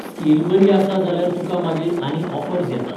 Skill बरी आसा जाल्यार तुका मागीर आनी ऑफर्स येतात.